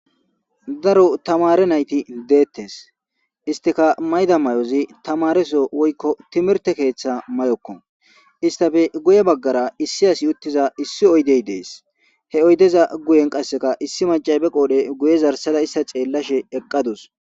Daro tamaare nayti de'etees istikka mayida mayozi tamaareso woykko timirte keetha mayoko istappe guye bagaara issi asi utiiza issi oydey de'es he oydeza guyen qassikka issi maccay be qoodhe guye zarsada istta xeelashe eqaadus.